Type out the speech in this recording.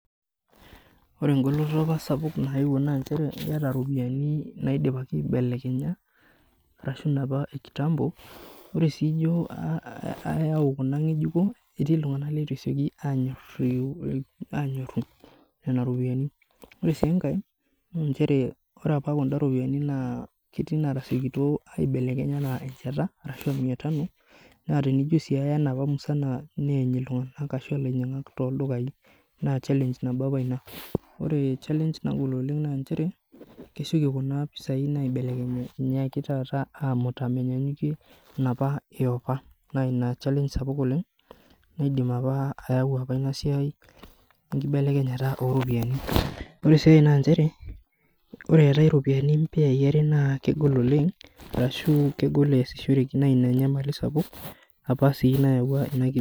Ore enkoloto apa naayeuo naa inchere iyata iropiyiani naidipaki aibelekenya ashua inapa ekitampo ore sii ijio iyau kuna nge'ejuko aanyoru nena ropiyiani ore sii enkae ore apa kuna ropiyiani naa keetii inaatasiokito aibelekeny enaa enchanta arashuu miatano naa tenijio sii aya enapa musana neeny iltung'anak ashuu ilainyiang'ak tooldukai naa challenge nabo apa ina ore challenge nagol oleng naa inchere kesioki kuna pesai naibekeny taata aamuta menyaanyukie inapa yapa naa ina challenge sapuk oleng keidim apa inasiai ayau enkibelekenyata ooropiyiani ore sii ae naa inchere ore eetai iropiyiani impeyai are naa kegol oleng arashuu kegol eesishoreki naa ina enyamali sapuk apa sii nayaua